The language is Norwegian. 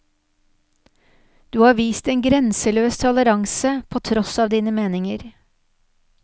Du har vist en grenseløs toleranse, på tross av dine meninger.